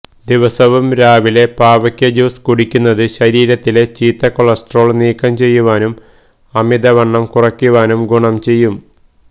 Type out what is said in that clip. ദിവസവും രാവിലെ പാവയ്ക്ക ജ്യൂസ് കുടിക്കുന്നത് ശരീരത്തിലെ ചീത്ത കൊളസ്ട്രോൾ നീക്കം ചെയ്യുവാനും അമിതവണ്ണം കുറയ്ക്കുവാനും ഗുണം ചെയ്യും